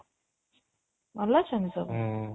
ଭଲ ଅଛନ୍ତି ସବୁ